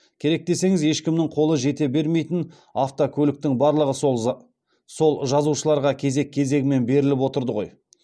керек десеңіз ешкімнің қолы жете бермейтін автокөліктің барлығы сол жазушыларға кезек кезегімен беріліп отырды ғой